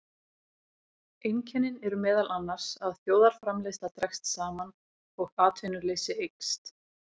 Einkennin eru meðal annars að þjóðarframleiðsla dregst saman og atvinnuleysi eykst.